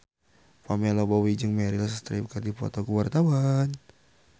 Pamela Bowie jeung Meryl Streep keur dipoto ku wartawan